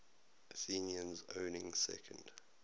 athenians owning second